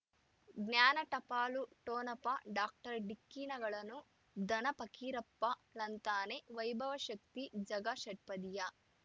ಜ್ಞಾನ ಟಪಾಲು ಠೊಣಪ ಡಾಕ್ಟರ್ ಢಿಕ್ಕಿ ಣಗಳನು ಧನ ಫಕೀರಪ್ಪ ಳಂತಾನೆ ವೈಭವ ಶಕ್ತಿ ಝಗಾ ಷಟ್ಪದಿಯ